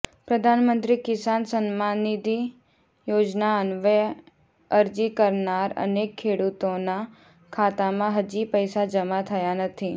પ્રધાનમંત્રી કિસાન સન્માનનિધિ યોજના અન્વયે અરજી કરનાર અનેક ખેડૂતોના ખાતામાં હજી પૈસા જમા થયા નથી